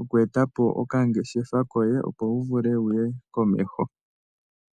oku eta po okangeshefa koye, opo wu vule wu ye komeho.